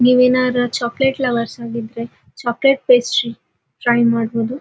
ನೀವೇನಾರಾ chocolate lover ಆಗಿದ್ರೆ chocolate pastry try ಮಾಡಬಹುದು.